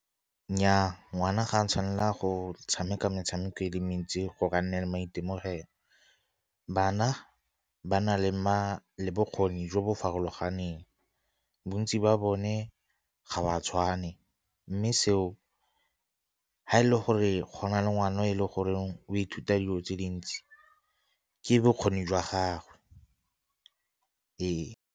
Nnyaa, ngwana ga a tshwanela go tshameka metshameko e le mentsi go ka nna le maitemogelo. Bana ba na le bokgoni jo bo farologaneng bontsi ba bone e ga o a tshwane, mme seo ha e le gore gona le ngwana e le goreng o ithuta dilo tse dintsi ke bokgoni jwa gagwe ee.